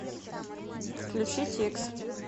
включить икс